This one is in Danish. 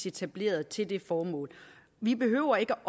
etableret til det formål vi behøver ikke